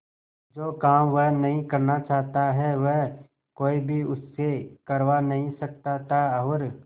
जो काम वह नहीं करना चाहता वह कोई भी उससे करवा नहीं सकता था और